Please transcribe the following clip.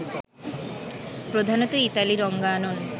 প্রধানত ইতালি রনাঙ্গন